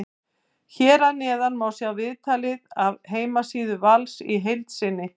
Hér að neðan má sjá viðtalið af heimasíðu Vals í heild sinni.